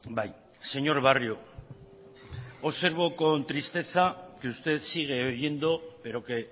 bai señor barrio observo con tristeza que usted sigue oyendo pero que